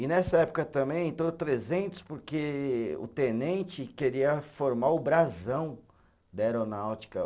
E nessa época também entrou trezentos porque o tenente queria formar o brasão da aeronáutica.